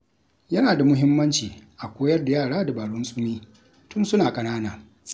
Yana da muhimmanci a koyar da yara dabarun tsimi tun suna ƙanana.